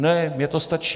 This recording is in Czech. Ne, mně to stačí.